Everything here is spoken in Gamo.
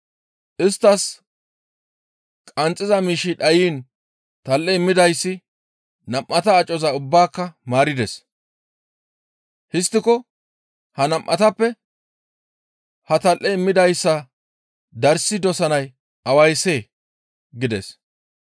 Isttas qanxxiza miishshi dhayiin tal7e immidayssi nam7ata acoza ubbaaka maarides; histtiko ha nam7atappe ha tal7e immidayssa darssi dosanay awayssee?» gides.